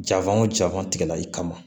Jafan o jaban tigɛli kama